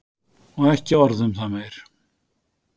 Og ekki orð um það meir.